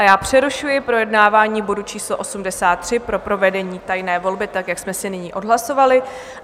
A já přerušuji projednávání bodu číslo 83 pro provedení tajné volby, tak jak jsme si nyní odhlasovali.